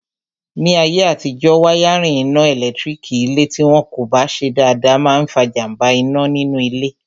Ní ayé àtijọ́, wáyárìn iná ẹ̀lẹ́tírík ilé tí wọn kò bá ṣe dáadáa máa n fa jàmbá iná nínú ilé